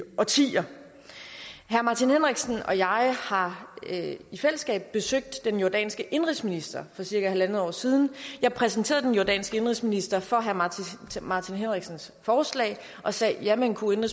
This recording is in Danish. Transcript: årtier herre martin henriksen og jeg har har i fællesskab besøgt den jordanske indenrigsminister for cirka halvandet år siden jeg præsenterede den jordanske indenrigsminister for herre martin henriksens forslag og sagde jamen kunne